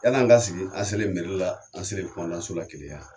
Yala an ka sigi an selen meri la an selen Kumandanso la Keleya